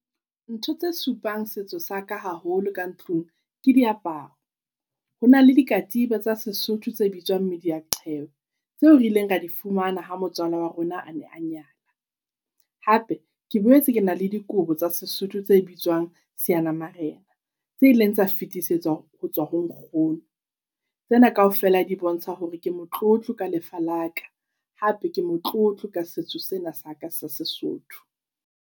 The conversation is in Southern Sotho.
Ntho tse supang setso sa ka haholo ka ntlung, ke diaparo. Hona le dikatiba tsa sesotho tse bitswang mediyaqhele, tseo re ileng ra di fumana ha motswala wa rona a ne a nyala. Hape, ke boetse kena le dikobo tsa sesotho tse bitswang seanamarena, tse ileng tsa fetisetswa ho tswa ho nkgono. Tsena kaofela di bontsha hore ke motlotlo ka lefa la ka, hape ke motlotlo ka setso sena sa ka sa Sesotho.